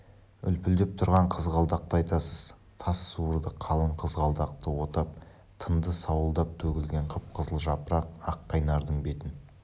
үлпілдеп тұрған қызғалдақты айтасыз тас суырды қалың қызғалдақты отап тынды сауылдап төгілген қып-қызыл жапырақ аққайнардың бетін